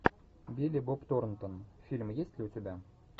билли боб торнтон фильм есть ли у тебя